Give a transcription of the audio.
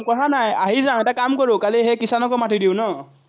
কথা নাই, আহি যাম, এটা কাম কৰোঁ, কালি সেই কিষাণকো মাতি দিওঁ ন?